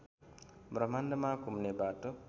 ब्रह्माण्डमा घुम्ने बाटो